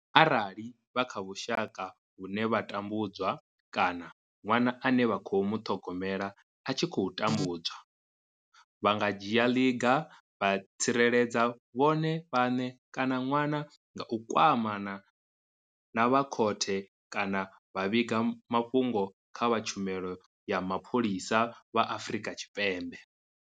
Arali vha kha vhusha ka vhune vha tambu dzwa kana ṅwana ane vha khou muṱhogomela a tshi khou tambudzwa, vha nga dzhia ḽiga vha tsireledza vhone vhaṋe kana ṅwana nga u kwamana na vha khothe kana vha vhiga mafhungo kha vha Tshumelo ya Mapholisa vha Afrika Tshipembe.